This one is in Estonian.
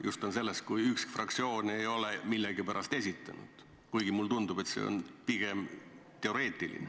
Jutt on sellest, kui üks fraktsioon ei ole millegipärast esitanud, kuigi mulle tundub, et see on pigem teoreetiline.